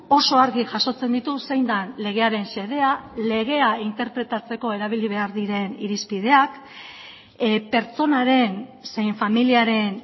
oso argi jasotzen ditu zein den legearen xedea legea interpretatzeko erabili behar diren irizpideak pertsonaren zein familiaren